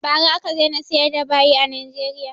Ba ra aka daina siyar da bayi a Nigeria